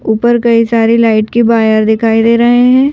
ऊपर कई सारी लाइट के बायर दिखाई दे रहे हैं।